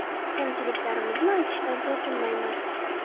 Kamchiliklarimizni aytishdan tortinmaymiz.